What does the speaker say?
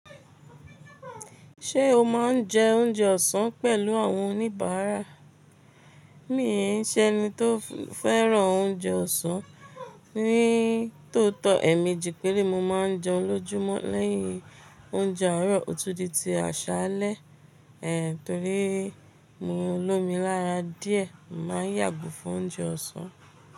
Ṣé o máa ń jẹ oúnjẹ ọ̀sán pẹ̀lú àwọn oníbàárà? Mí èn ṣẹ́ni tó fẹ́ràn oúnjẹ ọ̀sán, ní tótọ́, èmi jí pére ni mo máa ń jẹun lójúmọ́ lẹ́yìn oúnjẹ àárọ̀, òtúrúdi ti àṣálẹ́. Ehn, torí mo olómi lára díẹ̀, màá yàgò fún oúnjẹ ọ̀sán.